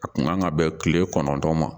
A kun kan ka bɛn kile kɔnɔntɔn ma